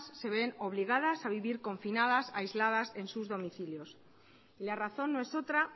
se ven obligadas a vivir confinadas aisladas en sus domicilios y la razón no es otra